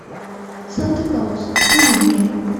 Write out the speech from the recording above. санта клаус выведи мне